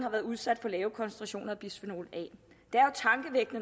været udsat for lave koncentrationer af bisfenol